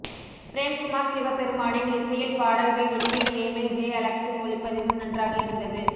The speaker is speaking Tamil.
பிரேம் குமார் சிவ பெருமானின் இசையில் பாடல்கள் இனிமை கேமில் ஜே அலெக்சின் ஒளிப்பதிவும் நன்றாக இருந்தது